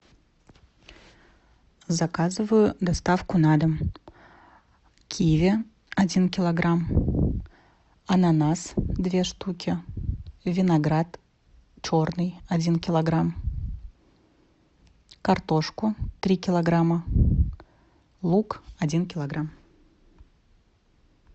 заказываю доставку на дом киви один килограмм ананас две штуки виноград черный один килограмм картошку три килограмма лук один килограмм